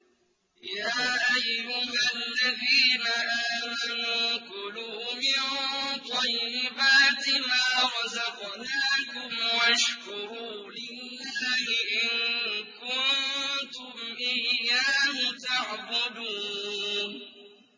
يَا أَيُّهَا الَّذِينَ آمَنُوا كُلُوا مِن طَيِّبَاتِ مَا رَزَقْنَاكُمْ وَاشْكُرُوا لِلَّهِ إِن كُنتُمْ إِيَّاهُ تَعْبُدُونَ